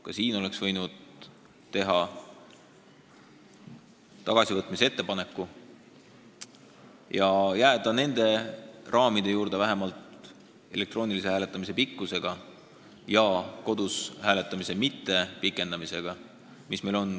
Ka siin oleks võinud teha tagasivõtmise ettepaneku ja jääda senistesse raamidesse vähemalt elektroonilise hääletamise pikkusega ja jättes kodus hääletamise pikendamata.